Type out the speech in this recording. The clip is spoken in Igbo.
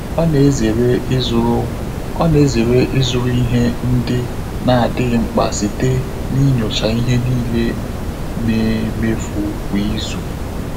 Ọ́ nà-èzéré ị́zụ́rụ́ Ọ́ nà-èzéré ị́zụ́rụ́ íhé ndị́ nà-ádị́ghị́ mkpà sìté n’ínyóchá ìhè níílé nà-éméfù kwá ízù.